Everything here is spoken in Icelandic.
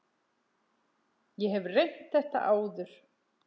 Ég hef reynt þetta áður.